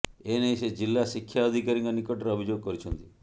ଏନେଇ ସେ ଜିଲ୍ଳା ଶିକ୍ଷା ଅଧିକାରୀଙ୍କ ନିକଟରେ ଅଭିଯୋଗ କରିଛନ୍ତି